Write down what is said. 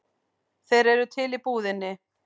Þeir eru til í búðinni.